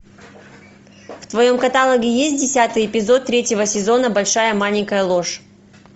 в твоем каталоге есть десятый эпизод третьего сезона большая маленькая ложь